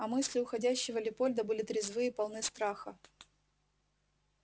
а мысли уходящего лепольда были трезвы и полны страха